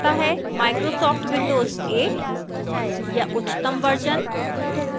microsoft windows 8 या उच्चतम versions